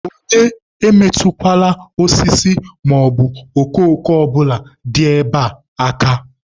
Onye emetụkwala osisi maọbụ okooko ọbụla dị ebe a aka!